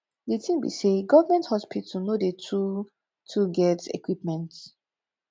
di tin be sey government hospital no dey too too get equipment